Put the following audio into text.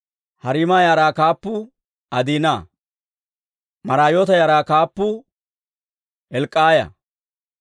Hariima yaraa kaappuu Adiina. Maraayoota yaraa kaappuu Hilk'k'aaya.